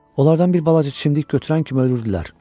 Onlardan bir balaca çimdik götürər kimi ölürdülər.